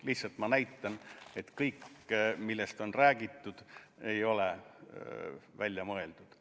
Lihtsalt ma näitan, et kõik, millest on räägitud, ei ole välja mõeldud.